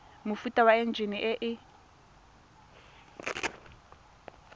mofuta wa enjine e e